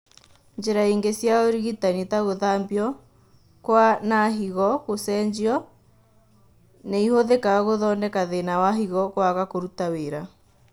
Njĩra ingĩ cia ũrigitani , ta gũthambio kwa na higo gũcenjio , nĩihũthĩkaga gũthondeka thĩna wa higo kwaga kũruta wĩra